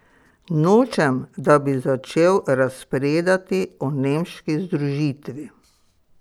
Nočem, da bi začel razpredati o nemški združitvi.